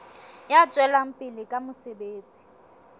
ya tswelang pele ka mosebetsi